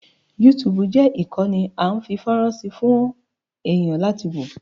Yúutùùbù jẹ́ ìkànnì a ń fi fọ́rán sí fún àwọn èẹ̀yàn láti wò.